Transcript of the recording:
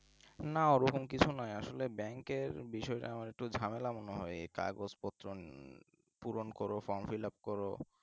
না ওরকম কিছু নয় আসলে bank বিষয়টা একটু ঝামেলা মনে হয় আমার কাগজপত্র পূরণ কর from filup করো